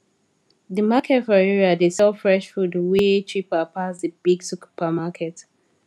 the market for area dey sell fresh food way cheaper pass the big supermarket